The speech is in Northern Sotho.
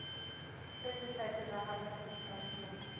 se se sa diragalego dikarolong